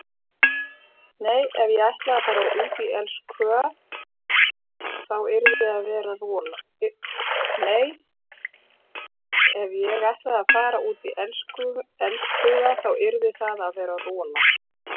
Nei ef ég ætlaði að fara út í elskhuga þá yrði það að vera rola.